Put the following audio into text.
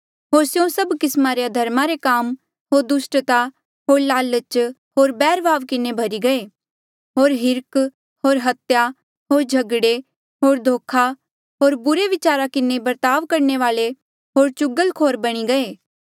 होर स्यों सभ किस्मा रे अधर्मा रे काम होर दुस्टता होर लालच होर बैरभाव किन्हें भर्ही गये होर हिर्ख होर हत्या होर झगड़े होर धोखा होर बुरे बिचारा किन्हें बर्ताव करणे वाले होर चुगलखोर बणी गईरे